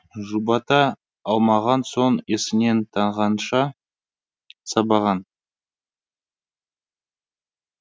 жұбата алмаған соң есінен танғанша сабаған